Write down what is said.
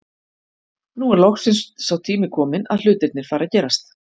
Nú er loksins sá tími kominn að hlutirnir fara að gerast.